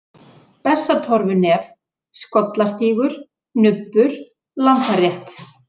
Bessatorfunef, Skollastígur, Nubbur, Lambarétt